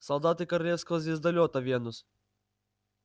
солдаты королевского звездолёта венус